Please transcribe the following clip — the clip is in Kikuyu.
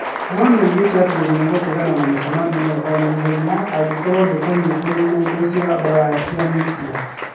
No nĩ oigĩte atĩ nĩ egũtigana na mĩcemanio ĩyo o na ihenya angĩkorũo ndĩkoniĩ kũniina indo cia mbaara cia nyuklia.